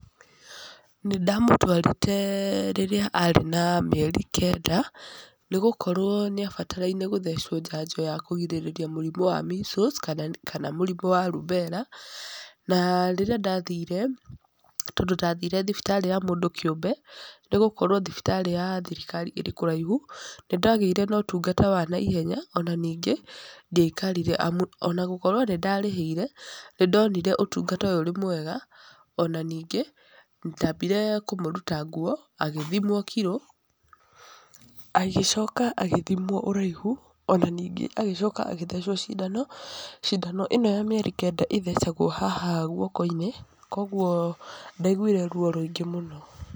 Nĩ ndamũtwarĩte rĩrĩa arĩ na mĩeri kenda, nĩ gũkorwo nĩ abataraine gũthecwo njanjo ya kũgirĩrĩria mũrimũ wa measles kana mũrimũ wa rubella, na rĩrĩa ndathire, tondũ ndathire thibitarĩ ya mũndũ kĩũmbe nĩ gũkorwo thibitarĩ ya thirikari ĩrĩ kũraihu, nĩ ndagĩire na ũtungata wa naihenya ona ningĩ ndiaikarire amu ona gũkorwo nĩ ndarĩhĩire, nĩ ndonire ũtungata ũyũ ũrĩ mwega, ona ningĩ, ndambire kũmũruta nguo, agĩthimwo kiro, agĩcoka agĩthimwo ũraihu, ona ningĩ agĩcoka agĩtecwo cindano, cindano ĩno ya mĩeri kenda ĩthecagwo haha guoko-inĩ, koguo ndaiguire ruo rũingĩ mũno.